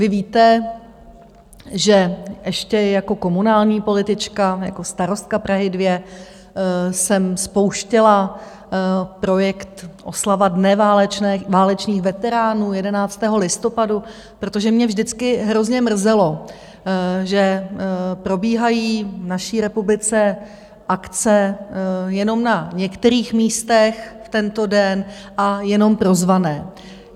Vy víte, že ještě jako komunální politička, jako starostka Prahy 2, jsem spouštěla projekt oslava Dne válečných veteránů 11. listopadu, protože mě vždycky hrozně mrzelo, že probíhají v naší republice akce jenom na některých místech v tento den a jenom pro zvané.